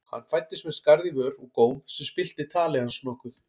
Hann fæddist með skarð í vör og góm sem spillti tali hans nokkuð.